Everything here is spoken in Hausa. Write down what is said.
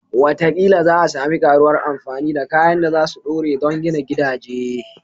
Wataƙila za a sami ƙaruwar amfani da kayan da za su dore don gina gidaje